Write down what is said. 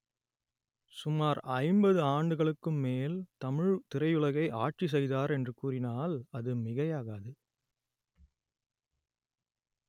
சுமார் ஐம்பது ஆண்டுகளுக்கும் மேல் தமிழ் திரையுலகை ஆட்சி செய்தார் என்று கூறினால் அது மிகையாகாது